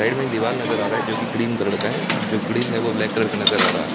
Side में एक दीवार नजर आ रहा है जो कि क्रीम कलर का है जो ग्रिल है वो ब्लैक कलर का नजर आ रहा है।